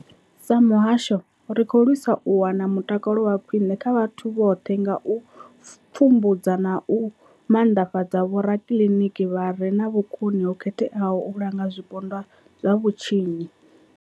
Sa muhasho, ri khou lwisa u wana mutakalo wa khwine kha vhoṱhe nga u pfumbudza na u maanḓa fhadza vhorakiliniki vha re na vhukoni ho khetheaho u langa zwipondwa zwa vhutshinyi.